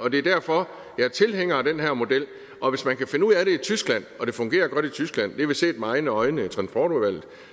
og det er derfor jeg er tilhænger af den her model og hvis man kan finde ud af det i tyskland og det fungerer godt i tyskland det vi set med egne øjne